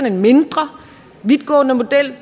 en mindre vidtgående model